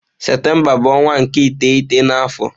Septemba bu onwa nke iteghete na afo.